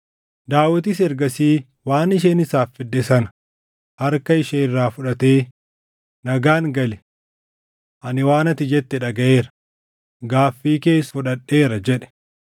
Daawitis ergasii waan isheen isaaf fidde sana harka ishee irraa fuudhatee, “Nagaan gali. Ani waan ati jette dhagaʼeera; gaaffii kees fudhadheera” jedhe.